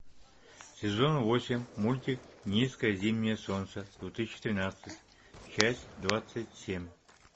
сезон восемь мультик низкое зимнее солнце две тысячи тринадцать часть двадцать семь